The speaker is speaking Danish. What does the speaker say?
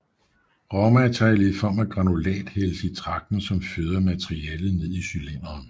Råmaterialet i form af granulat hældes i tragten som føder materialet ned til cylinderen